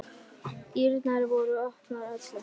Dyrnar voru opnar öllum.